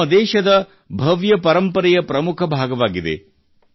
ಇದು ನಮ್ಮ ದೇಶದ ಭವ್ಯ ಪರಂಪರೆಯ ಪ್ರಮುಖ ಭಾಗವಾಗಿದೆ